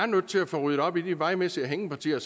nødt til at få ryddet op i de vejmæssige hængepartier